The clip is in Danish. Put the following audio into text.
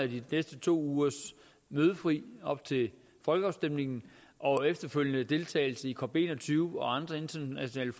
de næste to ugers mødefri op til folkeafstemningen og efterfølgende deltagelse i cop21 og andre internationale